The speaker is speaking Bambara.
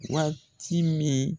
Waati min